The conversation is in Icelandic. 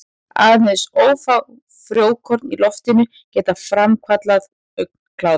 Aðeins örfá frjókorn í loftinu geta framkallað augnkláða.